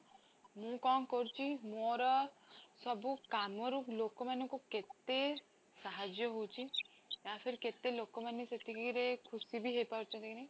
ମୁଁ କଣ କରୁଛି, ମୋର ସବୁ କାମରୁ ଲୋକ ମାନଙ୍କୁ କେତେ ସାହାଯ୍ୟ ହଉଛି ଲୋକ ମାନେ ସେତିକି ରେ ଖୁସି ବି ହେଇ ପାରୁଛନ୍ତି କି